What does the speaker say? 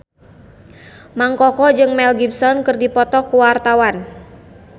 Mang Koko jeung Mel Gibson keur dipoto ku wartawan